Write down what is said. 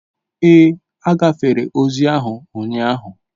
Ee, agafere ozi ahụ ụnyaahụ